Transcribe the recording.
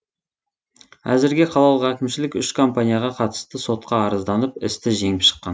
әзірге қалалық әкімшілік үш компанияға қатысты сотқа арызданып істі жеңіп шыққан